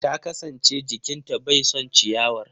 Ta kasance jikin ta bai son ciyawar.